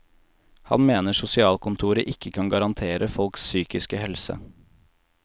Han mener sosialkontoret ikke kan garantere folks psykiske helse.